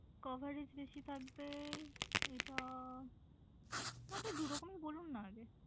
Coverage বেশি থাকবে এটা আপনি দু রকমি বলুন না আগে।